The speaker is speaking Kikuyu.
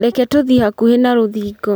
Reke tũthiĩ hakuhĩ na rũthingo